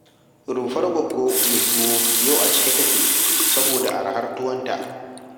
Rumfar Goggo mai tuwo yau a cike take, saboda arhar tuwonta.